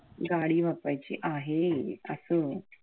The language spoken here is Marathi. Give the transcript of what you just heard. गाडी वापरायची आहे असं.